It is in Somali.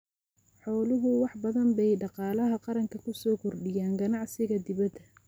Xooluhu wax badan bay dhaqaalaha qaranka ku soo kordhiyaan ganacsiga dibadda.